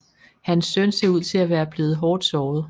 Hans søn ser ud til at være blevet hårdt såret